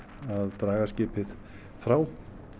draga skipið frá